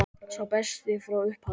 Sá besti frá upphafi?